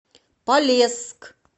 полесск